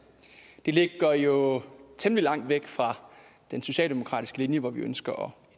det ligger jo temmelig langt væk fra den socialdemokratiske linje hvor vi ønsker